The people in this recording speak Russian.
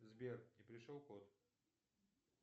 сбер не пришел код